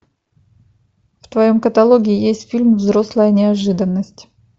в твоем каталоге есть фильм взрослая неожиданность